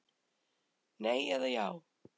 Nei eða já